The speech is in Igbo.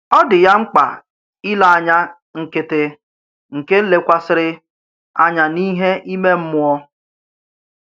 Ọ dị ya mkpa ìlé ànyà nkịtị nke lékwàsịrị ànyà n’íhè ìmè mmụọ.